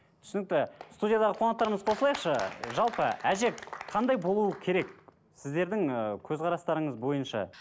түсінікті студиядағы қонақтарымыз қосылайықшы жалпы әже қандай болуы керек сіздердің ыыы көзқарастарыңыз бойынша